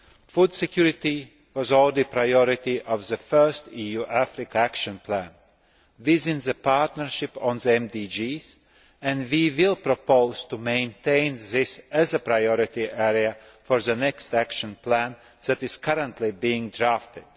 Food security was already a priority of the first EU Africa action plan, within the partnership on the MDGs, and we will propose to maintain this as a priority area for the next action plan that is currently being drafted.